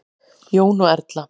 Jón og Erla.